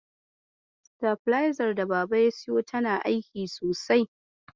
Sitabilezar daba siyo tana aiki sosai.